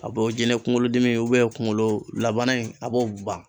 A b'o jinɛ kunkolodimi kunkolo labana in a b'o ban.